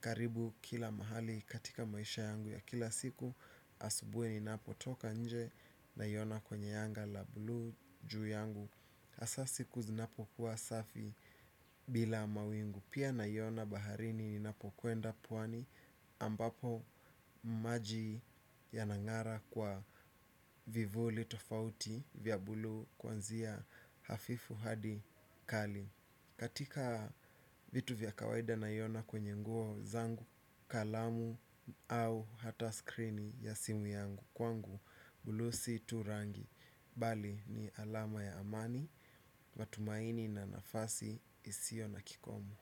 karibu kila mahali katika maisha yangu ya kila siku. Asubuhi ninapotoka nje naiona kwenye anga la bluu juu yangu hasa siku zinapokuwa safi bila mawingu. Pia naiona baharini ninapokwenda pwani ambapo maji yanangara kwa vivuli tofauti vya bluu kuanzia hafifu hadi kali katika vitu vya kawaida naiona kwenye nguo zangu kalamu au hata skrini ya simu yangu kwangu. Bluu si tu rangi bali ni alama ya amani. Matumaini na nafasi isiyo na kikomo.